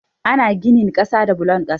Ana ginin kasa da bulon kasa.